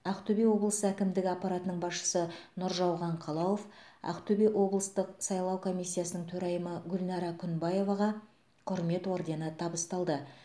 ақтөбе облысы әкімдігі аппаратының басшысы нұржауған қалауов ақтөбе облыстық сайлау комиссиясының төрайымы гүлнара күнбаеваға құрмет ордені табысталды